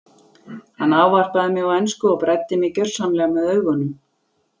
Hann ávarpaði mig á ensku og bræddi mig gjörsamlega með augunum.